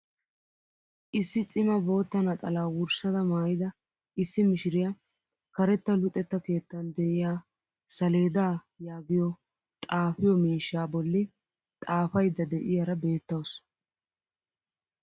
Issi cima bootta naxalaa wurssada maayida issi mishiriyaa karetta luxetta keettan d'iyaa saleedaa yaagiyoo xaafiyoo miishshaa bolli xaafaydda de'iyaara beettawus.